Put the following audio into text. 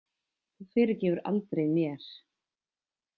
Þú fyrirgefur aldrei mér.